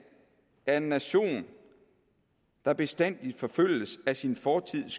er en neurotisk nation der bestandig forfølges af sin fortids